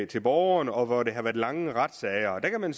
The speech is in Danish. til borgeren og hvor der har været lange retssager der kan man